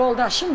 Yoldaşımla.